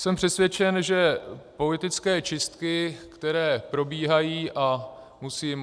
Jsem přesvědčen, že politické čistky, které probíhají, a musím...